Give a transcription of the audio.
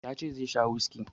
Ya ce zai sha whiskey.